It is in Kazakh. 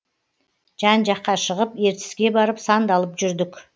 жан жаққа шығып ертіске барып сандалып жүрдік